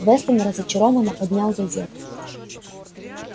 вестон разочарованно поднял газету